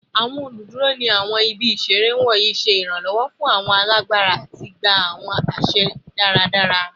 Awọn oluduro ni awọn ibi isere wọnyi ṣe iranlọwọ fun awọn alabara ati gba awọn aṣẹ daradara